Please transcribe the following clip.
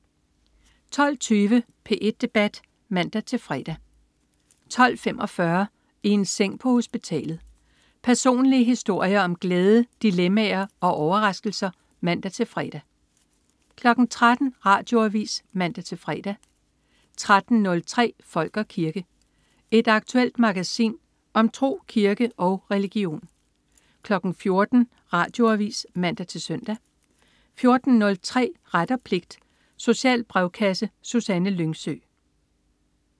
12.20 P1 Debat (man-fre) 12.45 I en seng på hospitalet. Personlige historier om glæde, dilemmaer og overraskelser (man-fre) 13.00 Radioavis (man-fre) 13.03 Folk og kirke. Et aktuelt magasin om tro, kirke og religion 14.00 Radioavis (man-søn) 14.03 Ret og pligt. Social brevkasse. Susanne Lyngsø